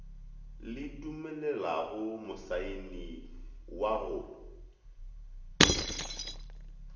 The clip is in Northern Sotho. le dumelelago mosaeni wa go